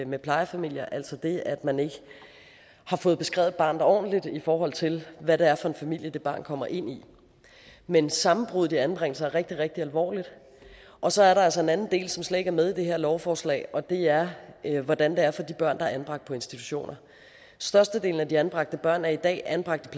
med plejefamilier altså det at man ikke har fået beskrevet barnet ordentligt i forhold til hvad det er for en familie det barn kommer ind i men sammenbruddet i anbringelser er rigtig rigtig alvorligt og så er der altså en anden del som slet ikke er med i det her lovforslag og det er hvordan det er for de børn der er anbragt på institutioner størstedelen af de anbragte børn er i dag anbragt